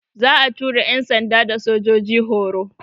Za'a tura yan'sanda da sojoji horo.